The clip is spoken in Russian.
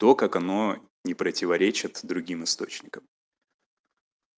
то как оно не противоречит другим источникам